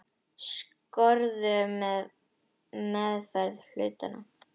Skorður á meðferð hluta.